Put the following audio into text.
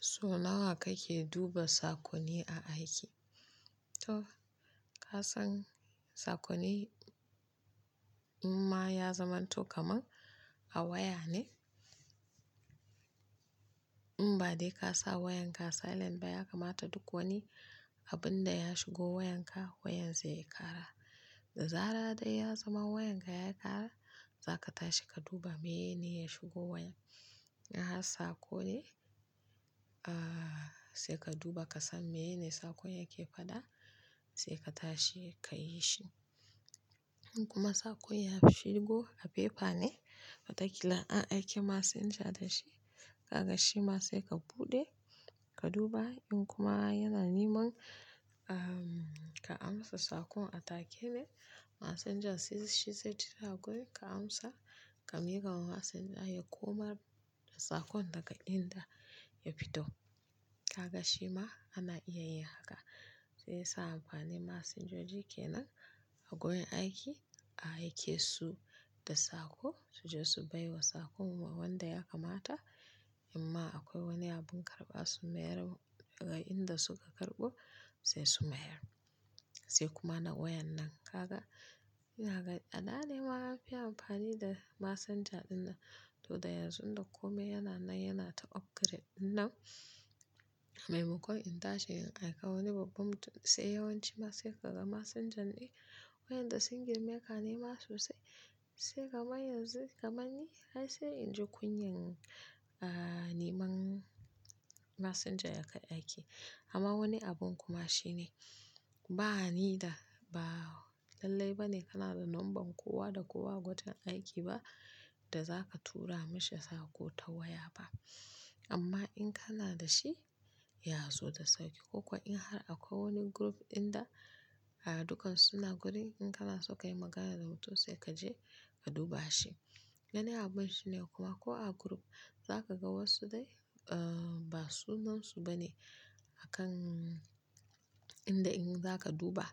So nawa kake duba sakonni a aiki? To ka san sakonni in ma ya zamanto kamar a waya ne? In ba dai ka sa wayanka silent ba ya kamata duk wani abun da ya shigo wayanka wayan zai kara. Da zara da ya zama wayanka ya ƙara, za ka tashi ka duba mene ya shigo wayan. In har saƙon ne? Aaa sai ka duba ka san mene sakon yake faɗa, sai ka tashi ka yi shi. In kuma sakon ya shigo a paper ne, watakila an aike messenger da shi, kaga shi ma sai ka buɗe ka duba. In kuma yana niman ahm ka amsa sakon a take ne, messenger shizaijira ka amsa, ka miƙa wa messenger ya komar da sakon daga inda ya fito. Kaka shi ma ana iya yin haka. Sai sa amfani messenger joji ke nan a wurin aiki a aike su da sako su je su baiwa sakon ma wanda ya kamata. In ma akwai wani abun karɓa su mayar daga inda suka karɓo sai su mayar. Sai kuma na wayen nan. Kaga yana da adane ma an fi amfani da messenger ɗin nan. To da yanzu da komai yana nan yana ta upgrade ɗinnan. Mai makon in tashi in aika wani babban mutum sai yawanci ma sai ka ga messenger ne. Wayan da sungir meka ne maso sai sai kamar yanzu kamar ni ai sai in ji kunyan a niman messenger ya kai aiki. Amma wani abun kuma shine ba ni da ba lallai ba ne kana da number kowa da kowa a wajen aiki ba da za ka tura mashi sako ta waya ba. Amma in kana da shi ya zo da sauki. Ko kuwa in har akwai wani group inda dukansu suna gurin in kana so ka yi magana da mutum sai ka je ka duba shi. Wani abun shine kuma ko a group zakaga wasu dai ba sunansu bane akan inda in zaka duba